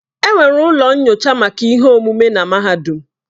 Enwere ụlọ nyocha maka ihe omume na mahadum.